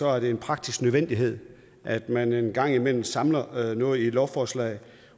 er det en praktisk nødvendighed at man en gang imellem samler noget i et lovforslag